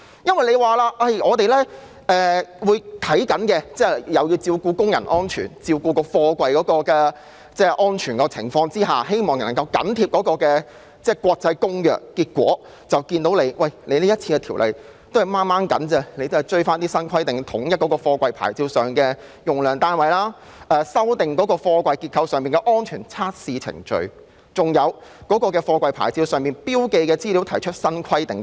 政府表示會在密切關注工人及貨櫃安全的情況下緊貼《公約》的規定，但結果是，政府僅僅能追及新規定，例如統一貨櫃牌照上的用量單位、修訂貨櫃結構上的安全測試程序，以及對貨櫃牌照上標記的資料提出新規定等。